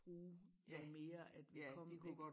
Bruge noget mere at vi kom ik